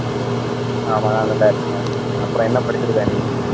ஆமா நான் நல்லா இருக்கேன், அப்புறம் என்ன படிச்சிருக்க நீ